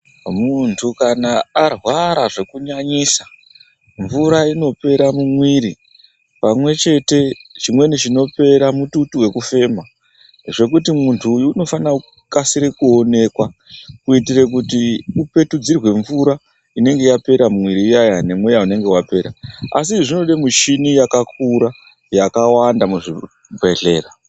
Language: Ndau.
Muntu kana arwara zvekunyanyisa mvura inopera mumwiri pamwe chete chimweni chinopera mututu vekufema. Zvekuti muntu uyu unofana kukasire kuonekwa. Kuitire kuti upetudzirwe mvura inenge yapera mumwiri iyaiya nemweya unenge vapera. Asi izvi zvinode michini yakakura yakawanda muzvibhedhlera.